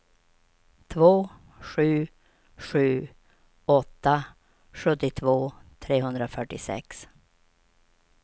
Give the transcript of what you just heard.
två sju sju åtta sjuttiotvå trehundrafyrtiosex